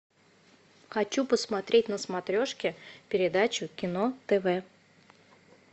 хочу посмотреть на смотрешке передачу кино тв